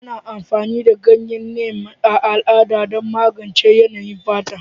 Ana amfani da ganyen Neem a al'ada don magance yanayin fata,